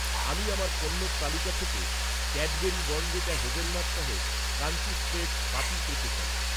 আমি আমার পণ্যের তালিকা থেকে, ক্যাডবেরি বর্ণভিটা হেজেলনাট সহ ক্রাঞ্চি স্প্রেড বাতিল করতে চাই।